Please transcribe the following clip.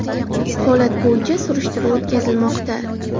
Holat bo‘yicha surishtiruv o‘tkazilmoqda.